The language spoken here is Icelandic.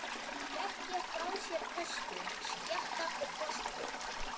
Þau leggja frá sér töskur, skjatta og plastpoka.